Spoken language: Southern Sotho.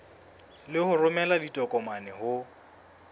le ho romela ditokomane ho